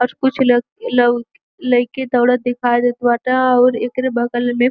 और कुछ लोग लई लईके दौड़त दिखई देत बाटे अउर एकरे बगल मे --